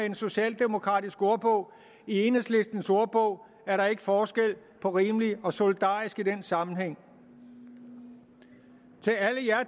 en socialdemokratisk ordbog i enhedslistens ordbog er der ikke forskel på rimeligt og solidarisk i den sammenhæng til alle jer